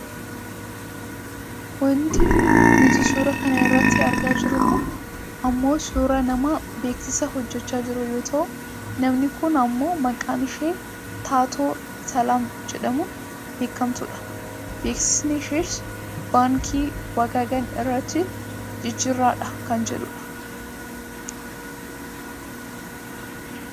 Wanti nuti suura kana irratti argaa jirru kun ammoo suuraa nama beeksisa hojjachaa jiruu yoo ta'u namni kun ammoo maqaan ishee taatoo Salaam jedhamuun beekkamtudha. Beeksisni ishees baaankii wagagan irratti jijjiirradhaa kan jedhudha.